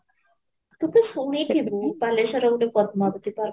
କେତେ ସମୟ ଥିବୁ ବାଲେଶ୍ୱର ରେ ପାଟଣା ଗୋଟେ park